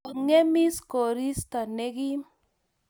Kongemis koristo ne kim